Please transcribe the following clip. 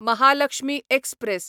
Mahalakshmi express